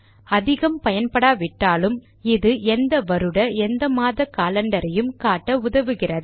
அதிகம் பயன்படாவிட்டாலும் இது எந்த வருட எந்த மாத காலண்டரையும் பார்க்க உதவுகிறது